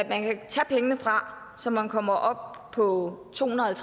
man kan tage pengene fra så man kommer op på to hundrede og